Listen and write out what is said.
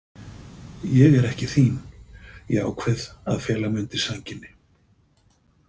Ég er ekki þín, ég ákveð að fela mig undir sænginni.